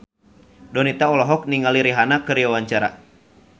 Donita olohok ningali Rihanna keur diwawancara